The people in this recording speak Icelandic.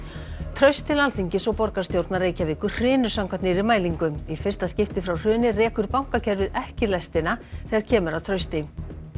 traust til Alþingis og borgarstjórnar Reykjavíkur hrynur samkvæmt nýrri mælingu í fyrsta skipti frá hruni rekur bankakerfið ekki lestina þegar kemur að trausti